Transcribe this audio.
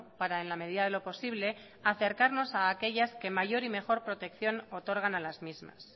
para en la medida de lo posible acercarnos a aquellas que mayor y mejor protección otorgan a las mismas